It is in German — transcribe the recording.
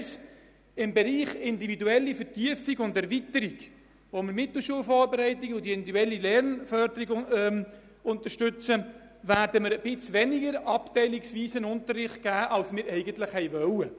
Im Bereich IVE, wo wir die Mittelschulvorbereitung und die individuelle Lernförderung unterstützen, werden wir ein bisschen weniger abteilungsweisen Unterricht geben, als wir eigentlich gewollt haben.